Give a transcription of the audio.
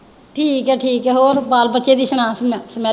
ਠੀਕ ਹੈ ਠੀਕ ਹੈ ਹੋਰ ਬਾਲ ਬੱਚੇ ਦੀ ਸੁਣਾ